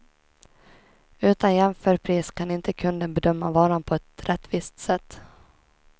Utan jämförpris kan inte kunden bedöma varan på ett rättvist sätt.